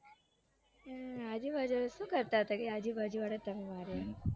હમ આજુબાજુ આજબાજુવાળાએ તમને માર્યા